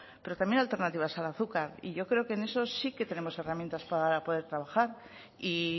pero también alternativas al azúcar y yo creo que en esos sí que tenemos herramientas para poder trabajar y